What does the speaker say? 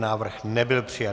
Návrh nebyl přijat.